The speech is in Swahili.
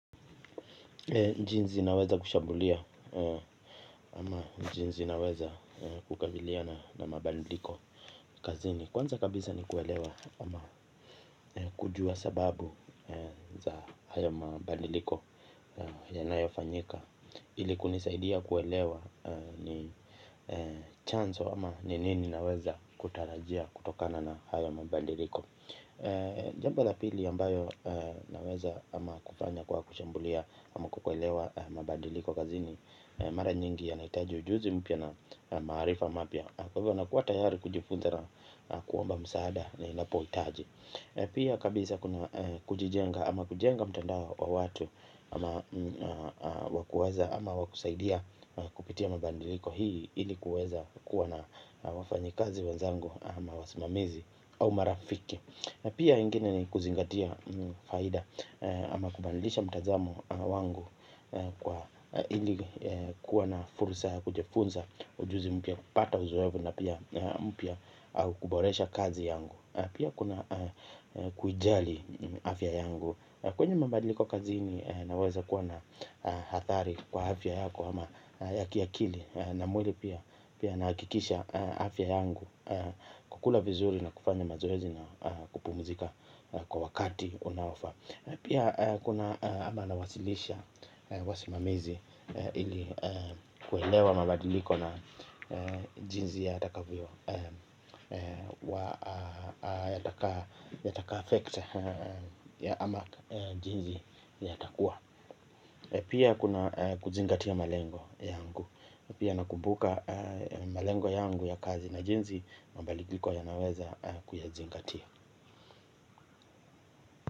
Jinsi naweza kushambulia ama jinsi naweza kukabiliana na mabadiliko kazini, kwanza kabisa ni kuelewa ama kujua sababu za hayo mabadiliko yanayofanyika. Ili kunisaidia kuelewa ni chanzo ama ni nini naweza kutarajia kutokana na hayo mabadiliko. Jambo la pili ambayo naweza ama kufanya kwa kushambulia ama kwa kuelewa mabadiliko kazini mara nyingi yanahitaji ujuzi mpya na maarifa mapya. Kwa hivyo nakuwa tayari kujifunza na kuomba msaada ninapohitaji. Pia kabisa kwenye kujijenga ama kujenga mtandao wa watu ama wa kusaidia kupitia mabadiliko hii ili kuweza kukuwa na wafanyikazi wenzangu ama wasimamizi au marafiki. Pia ingine ni kuzingatia faida ama kubadilisha mtazamo wangu kwa ilikuwa na fursa ya kujifunza ujuzi mpya, kupata uzoefu na pia mpya au kuboresha kazi yangu. Pia kuna kuijali afya yangu. Kwenye mabadiliko kazini unaweza kuwa na hathari kwa afya yako ama ya kiakili na mwili pia. Pia nahakikisha afya yangu, kukula vizuri na kufanya mazoezi na kupumzika kwa wakati unaofaa. Na pia kuna ama nawasilisha wasimamizi ili kuelewa mabadiliko na jinsi yatakavyo yataka yataka affect ya ama jinsi yatakuwa. Pia kuna kuzingatia malengo yangu. Pia nakumbuka malengo yangu ya kazi na jinsi mabadiliko yanaweza kuyazingatia.